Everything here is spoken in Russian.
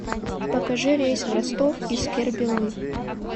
покажи рейс в ростов из кербелы